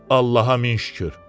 Allaha min şükür.